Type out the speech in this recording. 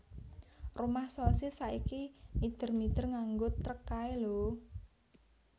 Rumah Sosis saiki mider mider nganggo trek kae lho